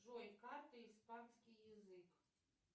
джой карты испанский язык